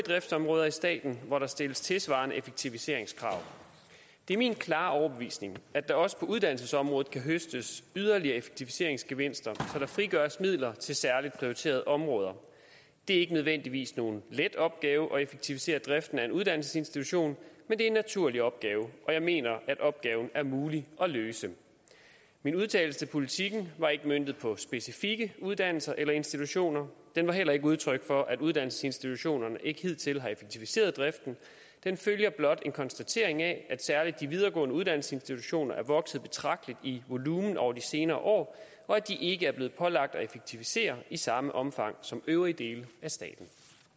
driftsområder i staten hvor der stilles tilsvarende effektiviseringskrav det er min klare overbevisning at der også på uddannelsesområdet kan høstes yderligere effektiviseringsgevinster så der frigøres midler til særligt prioriterede områder det er ikke nødvendigvis nogen let opgave at effektivisere driften af en uddannelsesinstitution men det er en naturlig opgave og jeg mener at opgaven er mulig at løse min udtalelse til politiken var ikke møntet på specifikke uddannelser eller institutioner den var heller ikke udtryk for at uddannelsesinstitutionerne ikke hidtil har effektiviseret driften den følger blot en konstatering af at særlig de videregående uddannelsesinstitutioner er vokset betragteligt i volumen over de senere år og at de ikke er blevet pålagt at effektivisere i samme omfang som øvrige dele af staten